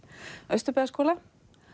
Austurbæjarskóla